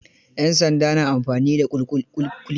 Yan sanda na amfani da kulki.